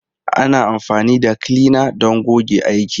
Ana amfani da kilina don goge aiki.